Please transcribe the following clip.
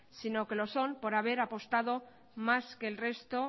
sino que lo son por haber apostado más que el resto